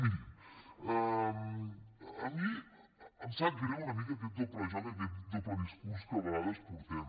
mirin a mi em sap greu aquest doble joc aquest doble discurs que a vegades portem